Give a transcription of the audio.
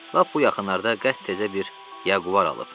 Lap bu yaxınlarda qəşəng təzə bir Jaguar alıb.